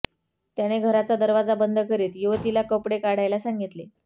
त्याने घराचा दरवाजा बंद करीत युवतीला कपडे काढायला सांगितले